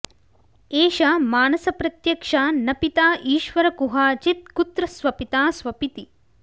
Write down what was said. एष मानसप्रत्यक्षा न पिता ईश्वर कुहाचित् कुत्र स्वपिता स्वपिति